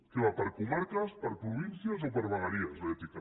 que va per comarques per províncies o per vegueries l’ètica